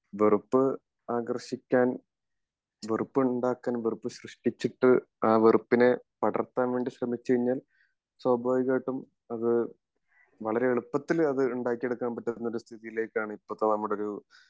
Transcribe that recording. വെറുപ്പ് ആകർഷിക്കാൻ വെറുപ്പ് ഉണ്ടാകാനും വെറുപ്പ് സൃശ്ഷ്ടിച്ചിട്ട് ആ വെറുപ്പിനെ പടർത്താൻ വേണ്ടി ശ്രമിച്ചു കഴിഞ്ഞാൽ സ്വാഭിവികമായിട്ടും അത് വളരേ എളുപ്പത്തിൽ അത് ഉണ്ടാക്കി എടുക്കാൻ പറ്റുന്ന ഒരു സ്ഥിതിയിലേക്കാണ് ഇപ്പോത്തെ നമ്മുടെ ഒരു